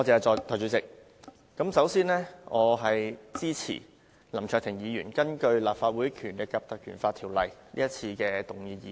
代理主席，我支持林卓廷議員根據《立法會條例》動議的議案。